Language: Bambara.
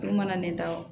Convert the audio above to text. Olu mana ne ta o